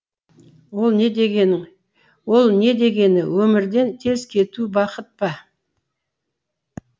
ол не ол не дегені өмірден тез кету бақыт па